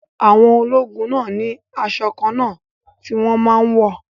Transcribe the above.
Àwọn ológun náà ni asọ kànna ti wón máa n wọ̀